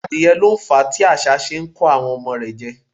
Adìẹ lo fàá tí asá se n ko ọmọ rẹ̀ jẹ́